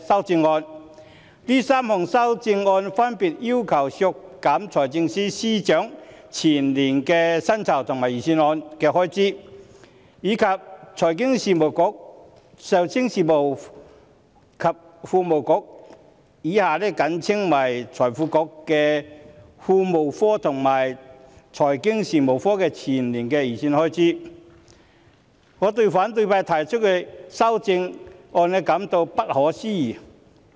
這3項修正案分別要求削減財政司司長全年的薪金預算開支、財經事務及庫務局個人薪酬的全年薪金預算開支，以及財經事務及庫務局有關資助金下金融發展局的全年預算開支。